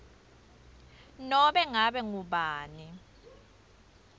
nobe ngabe ngubani